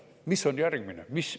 Mis on järgmine?